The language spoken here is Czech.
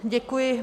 Děkuji.